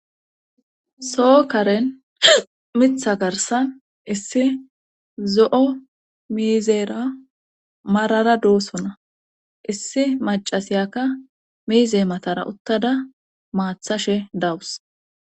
soo karen mitha garsan issi zo7o miizeera marara doosona issi macasiyakka miize matara uttada maathashe dawus